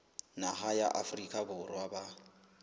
naha ya afrika borwa ba